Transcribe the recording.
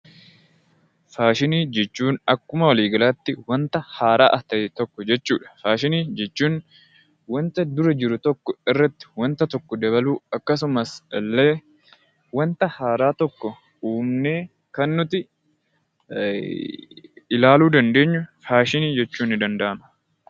Faashinii jechuun akkuma walii galaatti wanta haaraa ta'e tokko jechuu dha. Faashinii jechuun wanta dura jiru tokko irratti wanta tokko dabaluu akkasumas illee wanta haaraa tokko uumnee kan nuti ilaaluu dandeenyu 'Faashinii' jechuun nii danda'ama.